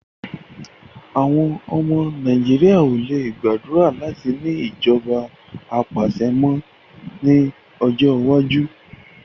Àwọn ọmọ Nàìjíríà ò le gbàdúrà láti ní ìjọba apàṣẹ mọ́ ní ọjọ́ iwájú